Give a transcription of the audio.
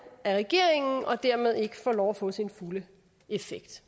af regeringen og dermed ikke får lov at få sin fulde effekt